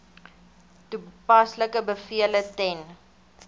toepaslike bevele ten